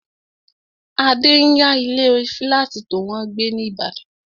Adé n yá ilé fílátì tó wọ́n gbé ní ìbàdàn